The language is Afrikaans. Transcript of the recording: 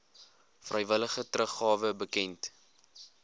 vrywillige teruggawe bekend